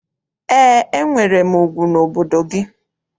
Eé, enwere m ugwu n'obodo gị.